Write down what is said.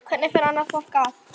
Hvernig fer annað fólk að?